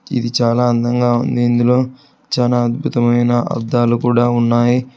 ఇది చాలా అందంగా ఉంది ఇందులో చాలా అద్భుతమైన అద్దాలు కూడా ఉన్నాయి.